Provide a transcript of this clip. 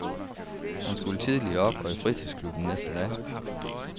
Han skulle tidligt op og i fritidsklubben næste dag.